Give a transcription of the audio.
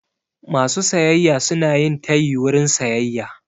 Masu sayayya suna yin tayi wurin sayayya.